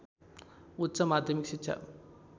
उच्च माध्यमिक शिक्षा